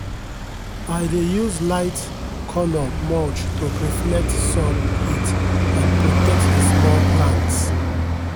i dey use light-colour mulch to reflect sun heat and protect the small plants.